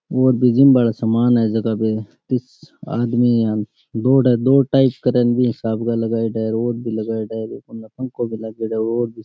Gym वाला सामान है इस जगह पे रोड भी लगाओड़ा है पंखो भी लागेदो है।